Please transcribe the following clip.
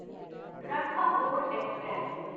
Ranthambore express